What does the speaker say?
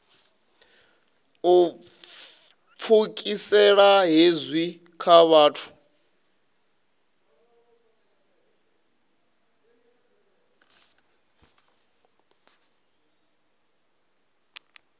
u pfukisela hezwi kha vhathu